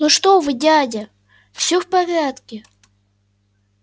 ну что вы дядя всё в порядке